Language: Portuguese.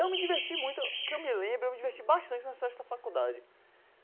Eu me diverti muito, que eu me lembre, eu me diverti bastante nas festas da faculdade.